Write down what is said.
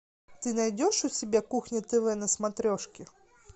ты найдешь у себя кухня тв на смотрешке